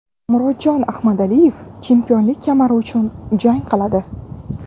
Murodjon Ahmadaliyev chempionlik kamari uchun jang qiladi.